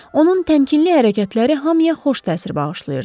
Onun təmkinli hərəkətləri hamıya xoş təsir bağışlayırdı.